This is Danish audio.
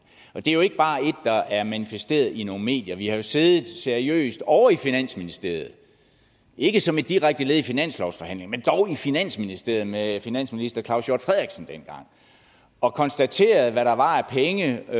og det er jo ikke bare et der er manifesteret i nogle medier vi har jo siddet seriøst ovre i finansministeriet ikke som direkte led i finanslovsforhandlingerne men dog i finansministeriet med finansminister claus hjort frederiksen og konstateret hvad der var af penge og